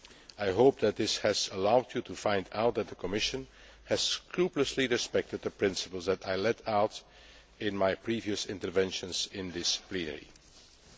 I hope that this has allowed you to find out that the Commission has scrupulously respected the principles that I laid out in my previous interventions in this House.